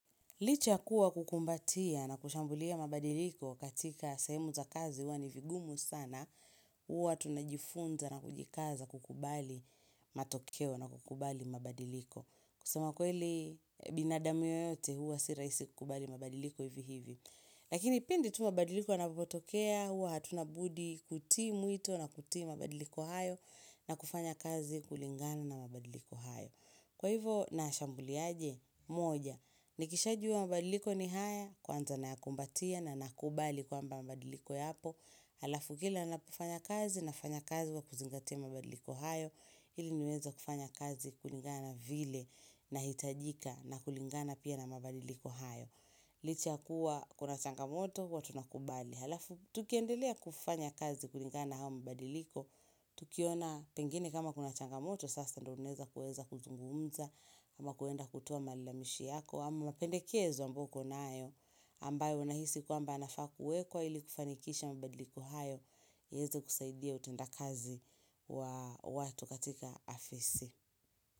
Licha ya kuwa kukumbatia na kushambulia mabadiliko katika sehemu za kazi huwa ni vigumu sana, huwa tunajifunza na kujikaza kukubali matokeo na kukubali mabadiliko. Kusema kweli binadamu yeyote huwa si rahisi kukubali mabadiliko hivi hivi. Lakini pindi tu mabadiliko yanapotokea huwa hatuna budi kutii mwito na kutii mabadiliko hayo na kufanya kazi kulingana na mabadiliko hayo. Kwa hivo nayashambulia aje? Moja, nikishajua mabadiliko ni haya, kwanza nayakumbatia na nakubali kwamba mabadiliko yapo, halafu kila ninapofanya kazi nafanya kazi kwa kuzingatia mabadiliko hayo, ili niweze kufanya kazi kulingana na vile nahitajika na kulingana pia na mabadiliko hayo. Licha ya kuwa kuna changamoto huwa tunakubali alafu tukiendelea kufanya kazi kulingana na haya mabadiliko Tukiona pengine kama kuna changamoto sasa ndiyo tunaweza kuweza kuzungumza kama kuenda kutoa malalamishi yako ama mapendekezo ambayo ukonayo ambayo unahisi kwamba yanafaa kuwekwa ili kufanikisha mabadiliko hayo yaweze kusaidia utendakazi wa watu katika afisi.